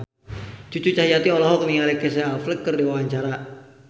Cucu Cahyati olohok ningali Casey Affleck keur diwawancara